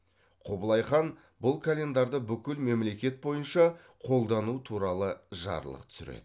құбылай хан бұл календарды бүкіл мемлекет бойынша қолдану туралы жарлық түсіреді